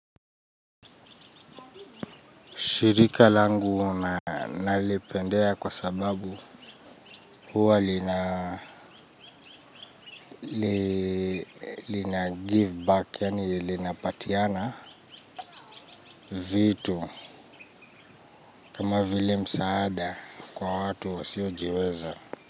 Shirika langu nalipendea kwa sababu huwa lina give back, yani linapatiana vitu kama vile msaada kwa watu wasiojiweza.